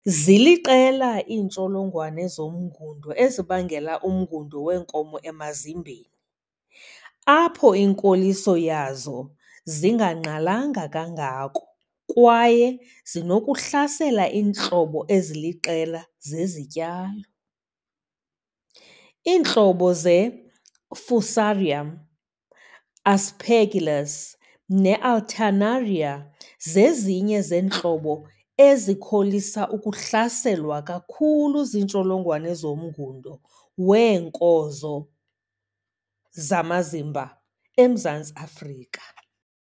Ziliqela iintsholongwane zomngundo ezibangela umngundo weenkozo emazimbeni, apho inkoliso yazo zingangqalanga kangako kwaye zinokuhlasela iintlobo eziliqela zezityalo. Iintlobo zeFusarium, Aspergillus neAlternaria zezinye zeentlobo ezikholisa ukuhlaselwa kakhulu ziintsholongwane zomngundo weenkozo zamazimba eMzantsi Afrika.